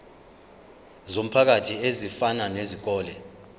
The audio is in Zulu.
zomphakathi ezifana nezikole